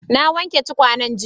Na wanke tukwanen jiya.